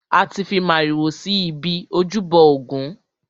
A ti fi màrìwò si ibi ojúbọ ògún.